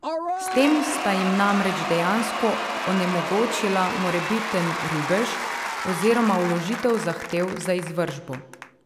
S tem sta jim namreč dejansko onemogočila morebiten rubež oziroma vložitev zahtev za izvršbo.